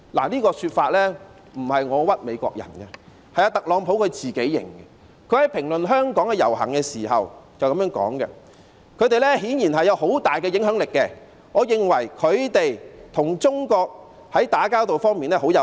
這說法不是我冤枉美國人的，是特朗普自己承認的，他在評論香港的遊行時說："他們顯然有很大的影響力，我認為他們在與中國打交道方面很有效。